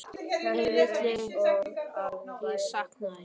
Ég vil að þú vitir hvað ég sakna þín.